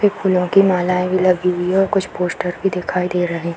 एक फूलों की मालाएं भी लगी हुई हैं और कुछ पोस्टर भी दिखाई दे रहे--